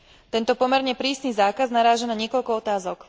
Tento pomerne prísny zákaz naráža na niekoľko otázok.